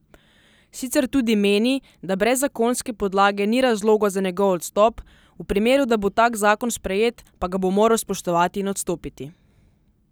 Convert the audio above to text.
Sicer tudi meni, da brez zakonske podlage ni razloga za njegov odstop, v primeru da bo tak zakon sprejet, pa ga bo moral spoštovati in odstopiti.